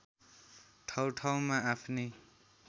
ठाउँ ठाउँमा आफ्नै